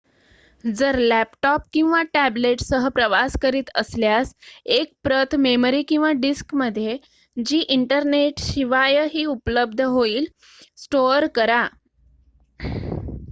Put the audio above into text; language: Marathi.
जर लॅपटॉप किंवा टॅब्लेटसह प्रवास करीत असल्यास एक प्रत मेमरी किंवा डिस्कमध्ये जी इंटरनेटशिवाय उपलब्ध होईल स्टोअर करा